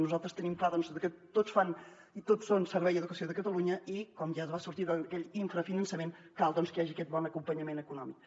nosaltres tenim clar doncs que tots fan i tots són servei d’educació de catalunya i com ja es va sortir d’aquell infrafinançament cal doncs que hi hagi aquest bon acompanyament econòmic